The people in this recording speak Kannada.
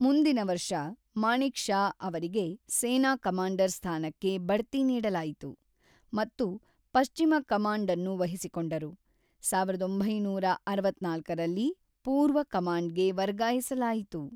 ಮುಂದಿನ ವರ್ಷ, ಮಾಣಿಕ್‌ ಷಾ ಅವರಿಗೆ ಸೇನಾ ಕಮಾಂಡರ್ ಸ್ಥಾನಕ್ಕೆ ಬಡ್ತಿ ನೀಡಲಾಯಿತು ಮತ್ತು ಪಶ್ಚಿಮ ಕಮಾಂಡ್ ಅನ್ನು ವಹಿಸಿಕೊಂಡರು, ಸಾವಿರದ ಒಂಬೈನೂರ ಅರವತ್ತ್ನಾಲ್ಕರಲ್ಲಿ ಪೂರ್ವ ಕಮಾಂಡ್‌ಗೆ ವರ್ಗಾಯಿಸಲಾಯಿತು.